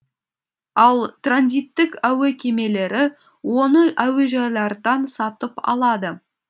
ал транзиттік әуе кемелері оны әуежайлардан сатып алады